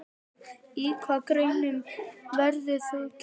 Í hvaða greinum verður keppt?